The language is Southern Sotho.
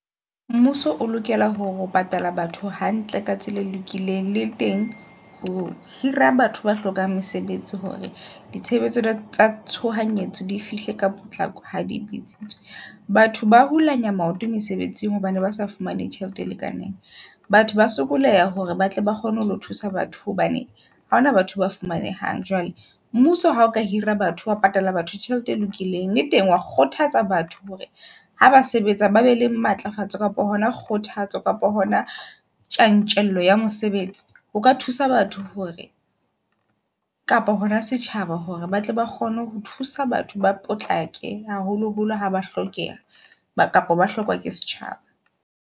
Mmuso o lokela hore ho patala batho hantle ka tsela e lokileng, le teng ho hira batho ba hlokang mesebetsi hore ditshebetso tsa tshohanyetso di fihle ka potlako ha di bitse tswe. Batho ba hulanya maoto mesebetsing hobane ba sa fumane tjhelete e lekaneng. Batho ba sokoleha hore ba tle ba kgone ho thusa batho hobane ha hona batho ba fumanehang. Jwale mmuso ha o ka hira batho wa patala batho tjhelete e lokileng, le teng wa kgothatsa batho hore ha ba sebetsa, ba be le matlafatsa kapa hona kgothatso kapa hona tjantjello ya mosebetsi. O ka thusa batho hore kapa hona setjhaba hore ba tle ba kgone ho thusa batho ba potlake haholo holo haba hlokeha kapa ba hlokwa ke setjhaba.